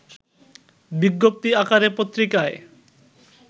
বিজ্ঞপ্তি আকারে পত্রিকায়